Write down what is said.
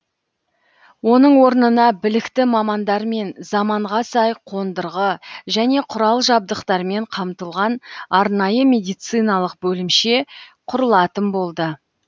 оның орнына білікті мамандармен заманға сай қондырғы және құрал жабдықтармен қамтылған арнайы медициналық бөлімше құрылатын болды